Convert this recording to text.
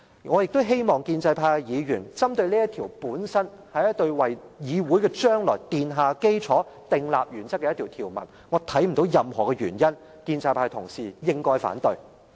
我亦希望建制派議員針對這條文本身，這條文是一項為議會將來奠下基礎、訂立原則的條文，我看不到任何原因，建制派同事應該反對。